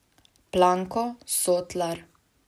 Planko, Sotlar...